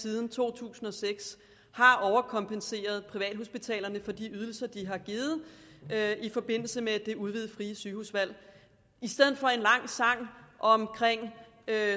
siden to tusind og seks har overkompenseret privathospitalerne for de ydelser de har givet i forbindelse med det udvidede frie sygehusvalg i stedet for en lang sang om